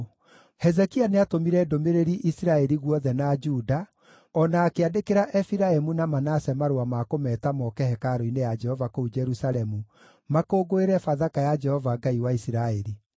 Hezekia nĩatũmire ndũmĩrĩri Isiraeli guothe na Juda, o na akĩandĩkĩra Efiraimu na Manase marũa ma kũmeeta moke hekarũ-inĩ ya Jehova kũu Jerusalemu, makũngũĩre Bathaka ya Jehova Ngai wa Isiraeli.